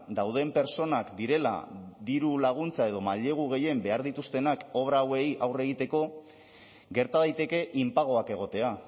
dauden pertsonak direla dirulaguntza edo mailegu gehien behar dituztenak obra hauei aurre egiteko gerta daiteke inpagoak egotea